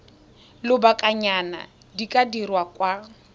lobakanyana di ka dirwa kwa